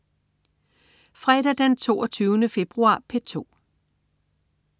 Fredag den 22. februar - P2: